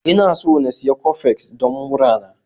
Ina so in sayi Coffex don murana.